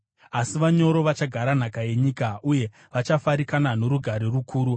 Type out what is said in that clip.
Asi vanyoro vachagara nhaka yenyika, uye vachafarikana norugare rukuru.